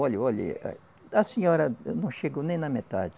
Olhe, olhe, a senhora não chegou nem na metade.